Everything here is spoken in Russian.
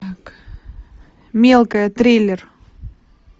мелкая триллер